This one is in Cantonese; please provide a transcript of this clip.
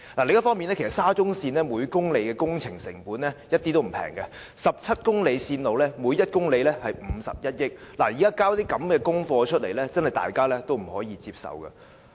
另一方面，沙中線每公里的工程成本一點也不便宜 ，17 公里線路每一公里耗資51億元，現在交這樣的功課，大家也不可以接受。